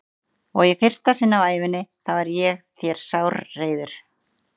Og í fyrsta sinn á ævi minni þá er ég þér sárreiður.